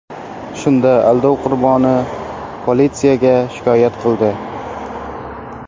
Shunda aldov qurboni politsiyaga shikoyat qildi.